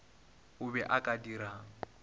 o be o ka dirang